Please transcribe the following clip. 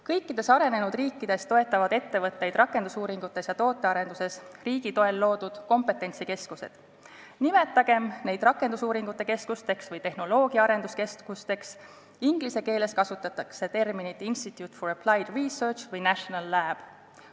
Kõikides arenenud riikides toetavad ettevõtteid rakendusuuringutes ja tootearenduses riigi toel loodud kompetentsikeskused, nimetagem neid rakendusuuringute keskusteks või tehnoloogia arenduskeskusteks, inglise keeles kasutatakse terminit institute of applied research või national lab.